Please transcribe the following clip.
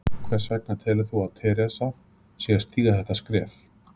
Hvers vegna telur þú að Theresa sé að stíga þetta skref?